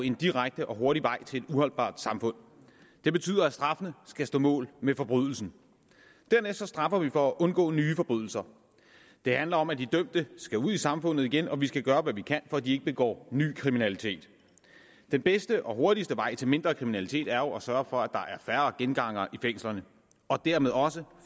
en direkte og hurtig vej til et uholdbart samfund det betyder at straffene skal stå mål med forbrydelserne dernæst straffer vi for at undgå nye forbrydelser det handler om at de dømte skal ud i samfundet igen og at vi skal gøre hvad vi kan for at de ikke begår ny kriminalitet den bedste og hurtigste vej til mindre kriminalitet er jo at sørge for at der er færre gengangere i fængslerne og dermed også